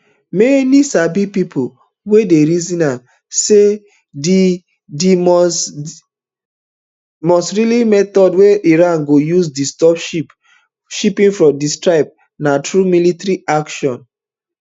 many sabi pipo dey reason am say di di must likely method wey iran go use disturb shipping for dat strait na through military action